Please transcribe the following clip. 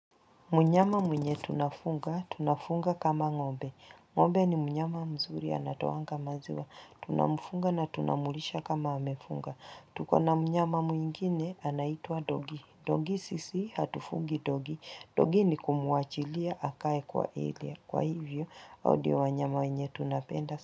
Mnyama mwenye tunafuga, tunafunga kama ng'ombe. Ng'ombe ni mnyama mzuri anatoanga maziwa. Tunamfunga na tunamlisha kama amefunga. Tuko na mnyama mwingine anaitwa dogi. Dogi sisi hatufungi dogi. Dogi ni kumuachilia akae kwa area. Kwa hivyo, hao ndio wanyama wenye tunapenda.